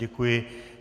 Děkuji.